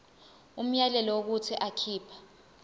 umyalelo wokuthi akhipha